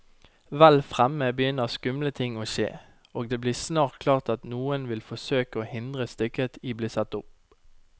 Vel fremme begynner skumle ting å skje, og det blir snart klart at noen vil forsøke å hindre stykket i bli satt opp.